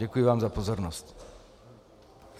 Děkuji vám za pozornost.